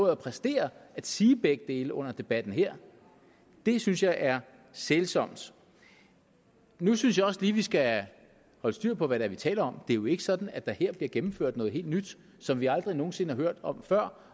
at præstere at sige begge dele under debatten her det synes jeg er sælsomt nu synes jeg også lige vi skal holde styr på hvad det er vi taler om det er jo ikke sådan at der her bliver gennemført noget helt nyt som vi aldrig nogen sinde har hørt om før